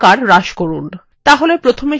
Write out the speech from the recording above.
তাহলে প্রথমে এটি নির্বাচন করুন